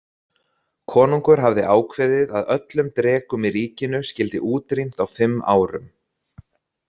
Konungur hafði ákveðið að öllum drekum í ríkinu skyldi útrýmt á fimm árum.